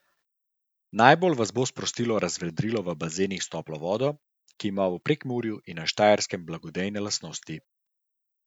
Najbolj vas bo sprostilo razvedrilo v bazenih s toplo vodo, ki ima v Prekmurju in na Štajerskem blagodejne lastnosti.